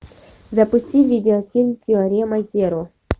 запусти видеофильм теорема зеро